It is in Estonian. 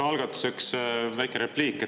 No algatuseks väike repliik.